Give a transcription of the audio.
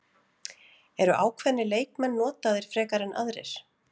Eru ákveðnir leikmenn notaðir frekar en aðrir?